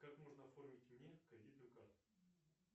как можно оформить мне кредитную карту